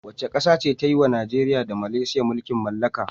Wace ƙasa ce ta yi wa Najeriya da Malaysia mulkin mallaka.